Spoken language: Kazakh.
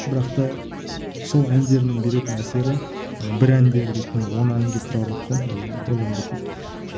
бірақ та сол әндердің беретін әсері ана бір әндері дейтін он әнге тұрарлық қой даже одан да көп